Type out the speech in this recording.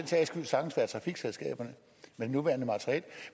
sags skyld sagtens være trafikselskaberne med det nuværende materiel